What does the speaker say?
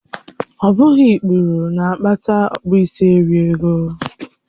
Ọ bụghị ikpuru na-akpata okpisieringọ